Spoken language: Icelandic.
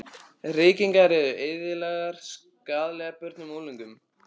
Reykingar eru eðlilegar skaðlegar börnum og unglingum.